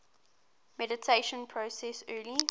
mediation process early